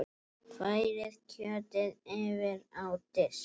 Færið kjötið yfir á disk.